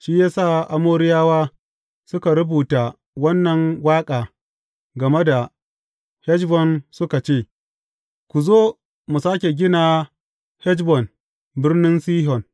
Shi ya sa Amoriyawa suka rubuta wannan waƙa game da Heshbon suka ce, Ku zo mu sāke gina Heshbon, birnin Sihon.